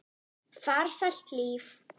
Farsælt líf.